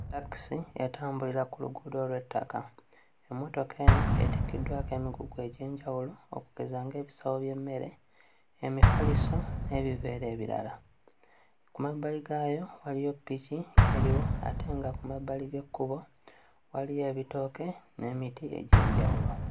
Ttakisi etambulira ku luguudo lw'ettaka. Emmotoka eno etikkiddwako emigugu egy'enjawulo okugeza ng'ebisawo by'emmere, emifaliso n'ebiveera ebirala. Ku mabbali gaayo waliyo ppiki eriyo ate nga ku mabbali g'ekkubo waliyo ebitooke n'emiti egy'enjawulo.